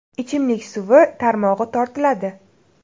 Ichimlik suvi tarmog‘i tortiladi.